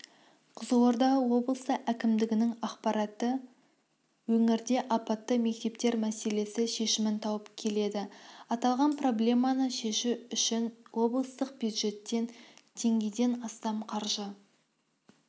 қызылорда облысы әкімдігінің ақпаратынша өңірде апатты мектептер мәселесі шешімін тауып келеді аталған проблеманы шешу үшін облыстық бюджеттен теңгеден астам қаржы